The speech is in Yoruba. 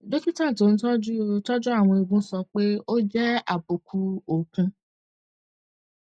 dókítà tó ń tọjú tọjú àwọn eegun sọ pé ó jẹ àbùkù okùn